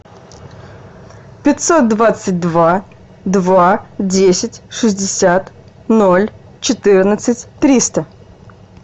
пятьсот двадцать два два десять шестьдесят ноль четырнадцать триста